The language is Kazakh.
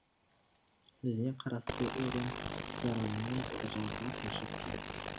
өзіне қарасты өрен жаранымен үржарға көшіп кетті